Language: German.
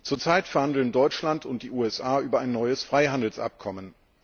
Zurzeit verhandeln Deutschland und die USA über ein neues Freihandelsabkommen.